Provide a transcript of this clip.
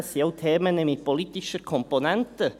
Das sind auch Themen mit politischen Komponenten.